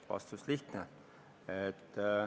Vastus on lihtne.